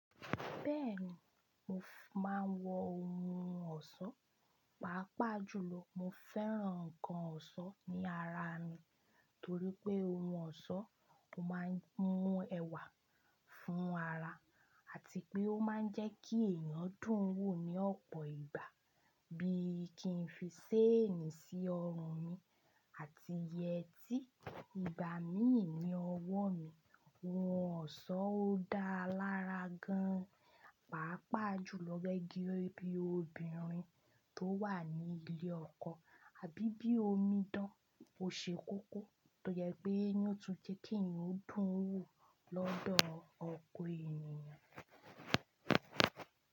Bẹ́ẹ̀ni, mo máa ń wọ ohun ọ̀ṣọ́, pàápàá jùlọ mo fẹ́ràn nǹkan ọ̀ṣọ́ ní ara mi torí pé ohun ọ̀ṣọ́ máa ń mú ẹwà fún ara àti pé ó máa ń jẹ́ kí ẹ̀yàn dùn wò ní ọ̀pọ̀ ìgbà bí kì í fi séènì sí ọrùn mi àti yẹtí. Ìgbà míì ní ọwọ́ mi, ohun ọ̀ṣọ́ ó dáa lára gan-an, pàápàá jùlọ gẹ́gẹ́ bí obìnrin tó wà ní ilé ọkọ. Abíbí omi dán, o ṣe kókó tó jẹ pé ni ó tún jẹ́ kí ẹ̀yàn dùn wò lọ́dọ̀ ọ̀kọ̀ ènìyàn.